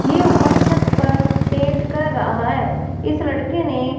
ये ऊपर छत पर पेंट कर रहा है इस लड़के ने--